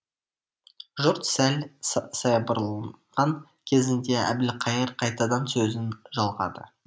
жұрт сәл саябырланған кезінде әбілқайыр қайтадан сөзін жалғады